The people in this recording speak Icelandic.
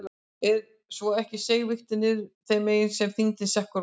Ef svo var ekki seig vigtin niður þeim megin sem þyngri sekkurinn var.